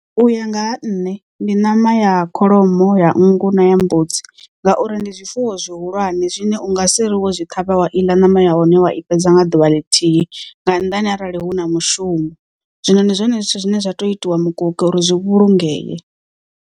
U ya nga ha nṋe ndi ṋama ya kholomo ya nngu na ya mbudzi ngauri ndi zwifuwo zwihulwane zwine unga si ri wo zwi ṱhavha wa iḽa ṋama ya hone wa i fhedza nga ḓuvha ḽithihi nga nnḓani arali hu na mushumo. Zwino ndi zwone zwithu zwine zwa tea u itiwa mukoki uri zwi vhulungee.